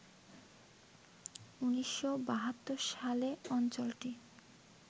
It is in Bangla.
১৯৭২ সালে অঞ্চলটি